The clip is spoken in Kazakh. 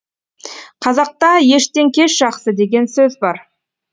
қазақта ештен кеш жақсы деген сөз бар